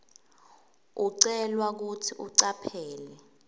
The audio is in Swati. ucelwa kutsi ucaphele